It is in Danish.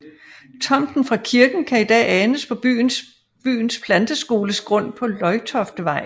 Tomten fra kirken kan i dag anes på byens planteskoles grund på Løjtoftevej